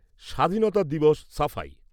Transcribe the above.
স্বাধীনতা দিবস সাফাই